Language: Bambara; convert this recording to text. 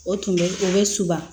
O tun bɛ o bɛ suba